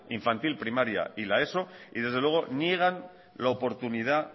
infantil primaria y la eso y desde luego niegan la oportunidad